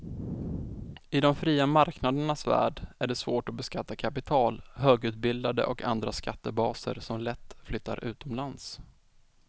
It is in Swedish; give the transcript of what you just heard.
I de fria marknadernas värld är det svårt att beskatta kapital, högutbildade och andra skattebaser som lätt flyttar utomlands.